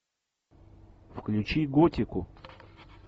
включи готику